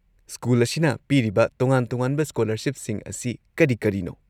School ꯑꯁꯤꯅ ꯄꯤꯔꯤꯕ ꯇꯣꯉꯥꯟ-ꯇꯣꯉꯥꯟꯕ ꯁ꯭ꯀꯣꯂꯔꯁꯤꯞꯁꯤꯡ ꯑꯁꯤ ꯀꯔꯤ-ꯀꯔꯤꯅꯣ?